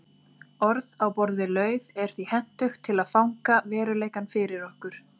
Orð á borð við lauf er því hentugt til að fanga veruleikann fyrir okkur.